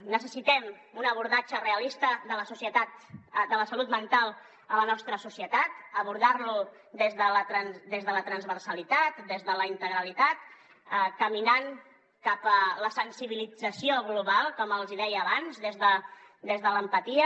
necessitem un abordatge realista de la salut mental a la nostra societat abordar la des de la transversalitat des de la integralitat caminant cap a la sensibilització global com els deia abans des de l’empatia